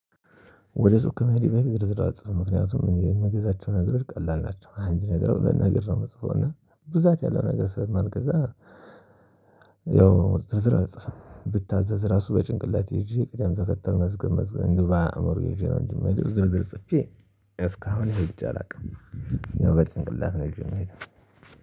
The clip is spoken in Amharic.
ወደ ሱቅ ከመሄዴ በፊት ዝርዝር አልጽፍም ምክንያቱም እኔ የምገዛቸውን ነገር ቀላል ናቸው አንድ ነገር በነገር ነው የምጽፈው እና ብዛት ያለው ነገር ስለማልገዛ። ያው ዝርዝር አልጽፍም ብታዘዝ ራሱ በጭንቅላቴ ይዤ ቅድም ተከተል መዝገብ መዝገብ እንዲሁ በአእምሮ ይዤ ነው እንጂ ምሄደው ዝርዝር ጽፌ እስካሁን ሄጄ አላውቅም። ያው በጭንቅላት ነው ይዤ ምሄደው